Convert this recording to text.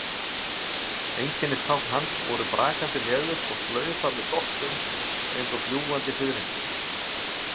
Einkennistákn hans voru brakandi leður og slaufa með doppum eins og fljúgandi fiðrildi.